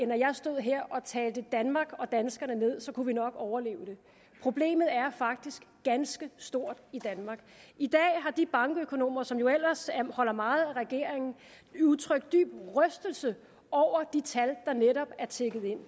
jeg stod her og talte danmark og danskerne ned så kunne vi nok overleve det problemet er faktisk ganske stort i danmark i dag har de bankøkonomer som jo ellers holder meget af regeringen udtrykt dyb rystelse over de tal der netop er tikket ind